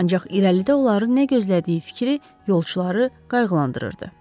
Ancaq irəlidə onları nə gözlədiyi fikri yolçuları qayğılandırırdı.